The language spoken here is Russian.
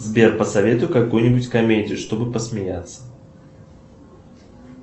сбер посоветуй какую нибудь комедию чтобы посмеяться